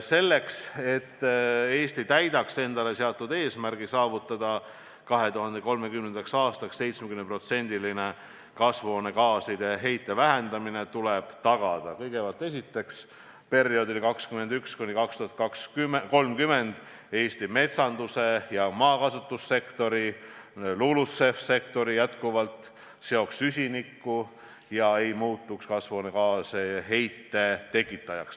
Selleks, et Eesti täidaks endale seatud eesmärgi saavutada 2030. aastaks 70%-line kasvuhoonegaaside heite vähendamine, tuleb kõigepealt tagada, et perioodil 2021–2030 Eesti maakasutuse, maakasutuse muutuse ja metsanduse sektor ehk LULUCF-i sektor jätkuvalt seoks süsinikku ega muutuks kasvuhoonegaaside heite tekitajaks.